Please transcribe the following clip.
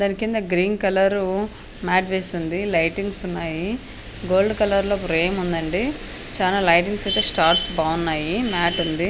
దాని కింద green colour mat వేసి ఉంది లైటింగ్స్ ఉన్నాయి. గోల్డ్ కలర్ లో ఫ్రేమ్ ఉందండి చానా లైటింగ్ అయితే స్టార్స్ బాగున్నాయి. మ్యాట్ ఉంది